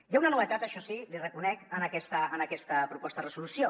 hi ha una novetat això sí l’hi reconec en aquesta proposta de resolució